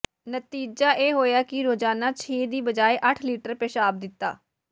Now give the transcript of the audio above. ਨਤੀਜਾ ਇਹ ਹੋਇਆ ਕਿ ਰੋਜਾਨਾ ਛੇ ਦੀ ਬਜਾਏ ਅੱਠ ਲੀਟਰ ਪਿਸ਼ਾਬ ਦਿੱਤਾ